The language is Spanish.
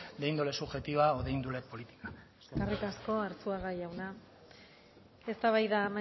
de índole subjetiva o de índole política eskerrik asko arzuaga jauna eztabaida